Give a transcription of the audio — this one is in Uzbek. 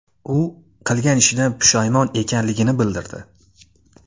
U qilgan ishidan pushaymon ekanligini bildirdi.